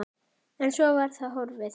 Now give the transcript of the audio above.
En svo var það horfið.